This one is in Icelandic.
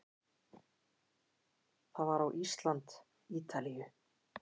Það var á Ísland- Ítalíu